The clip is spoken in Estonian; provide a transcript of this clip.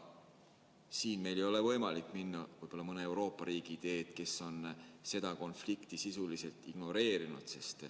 Siin meil ei ole võimalik minna mõne Euroopa riigi teed, kes on seda konflikti sisuliselt ignoreerinud.